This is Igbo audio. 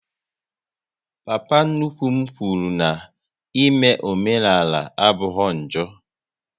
Papa nnukwu m kwụrụ n'ime omenala abụghị njọ